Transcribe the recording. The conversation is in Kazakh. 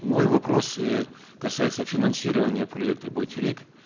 мой вопрос э касается финансирования проекта байтерек